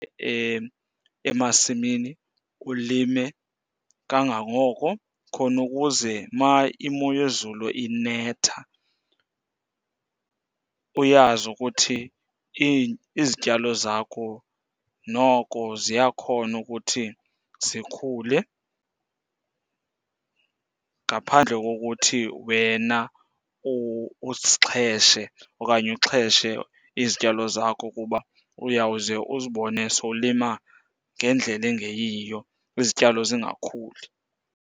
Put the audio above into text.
Emasimini ulime kangangoko khona ukuze uma imo yezulu inetha uyazi ukuthi izityalo zakho noko ziyakhona ukuthi zikhule ngaphandle kokuthi wena uzixheshe okanye uxheshe izityalo zakho. Kuba uyawuze uzibone sowulima ngendlela engeyiyo, izityalo zingakhuli.